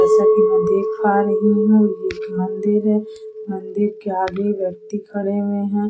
जैसा की मैं देख पा रही हूं ये एक मंदिर है मंदिर के आगे व्यक्ति खड़े हुए हैं।